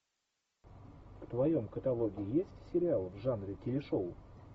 в твоем каталоге есть сериал в жанре телешоу